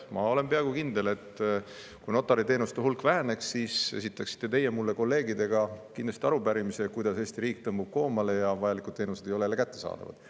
Ma olen peaaegu kindel, et kui notariteenuste hulk väheneks, siis esitaksite teie mulle koos kolleegidega arupärimise, kuidas Eesti riik tõmbub koomale ja vajalikud teenused ei ole kättesaadavad.